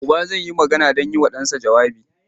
Uba zai yi magana don yi wa ɗansa jawabi.